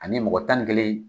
Ani mɔgɔ tan ni kelen